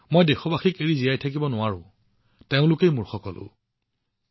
সেই দেশবাসী যি মোৰ সকলো মই তেওঁলোকৰ পৰা পৃথক হৈ থাকিব নোৱাৰিলো